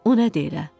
O nədir elə?